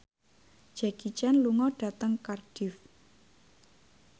Jackie Chan lunga dhateng Cardiff